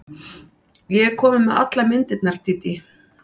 Ég er komin með allar myndirnar, Dídí.